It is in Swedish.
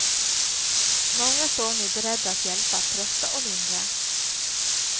Många står nu beredda att hjälpa, trösta och lindra.